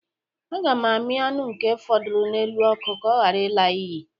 A ga m amii aṅụ nke fọdụrụ n'elu ọkụ ka ọ ghara ịla n'iyi